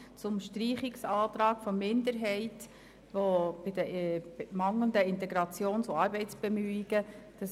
Den Streichungsantrag der Minderheit bei den mangelnden Integrations- und Arbeitsbemühungen lehnen wir ab.